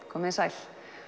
komið þið sæl